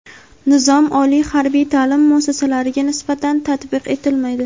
Nizom oliy harbiy taʼlim muassasalariga nisbatan tatbiq etilmaydi.